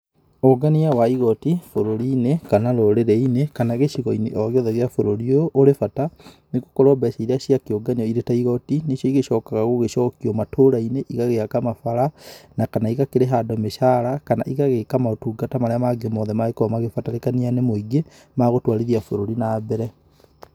Ũngania wa igoti, bũrũri-inĩ, kana rũrĩrĩ-inĩ, kana gĩcigo-inĩ o gĩothe gĩa bũrũri ũyũ, ũrĩ bata, nĩ gũkorũo mbeca iria ciakĩũnganio irĩ ta igoti, nĩcio ĩcokaga gũgĩcokio matũũra-inĩ igagĩaka mabara, na kana igakĩrĩha andũ mĩcara, kana igagĩka maũtungata marĩa mangĩ mothe mangĩkorũo magĩbatarĩkania nĩ mũingĩ ma gũtũarithia bũrũri na mbere.